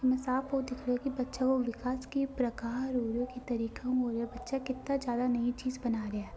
इस में साफ साफ दिख रहा है के बच्चे लोग विकास की प्रकार की तरीके हु हो रहो है और ये बच्चा किती ज्यादा नई चीज बना रहा है।